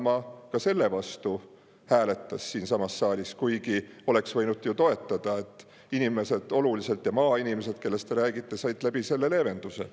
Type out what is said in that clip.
Isamaa ka selle vastu hääletas siinsamas saalis, kuigi oleks võinud ju seda toetada, sest inimesed, ka maainimesed, kellest te räägite, said selle kaudu olulise leevenduse.